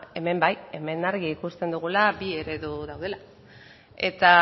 hemen bai hemen argi ikusten dugula bi eredu daudela eta